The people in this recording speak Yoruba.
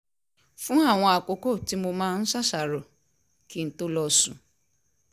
fún àwọn àkókò tí mo máa ń ṣàṣàrò kí n tó lọ sùn